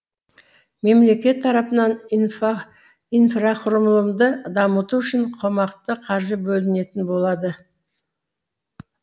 мемлекет тарапынан инфа инфрақұрылымды дамыту үшін қомақты қаржы бөлінетін болады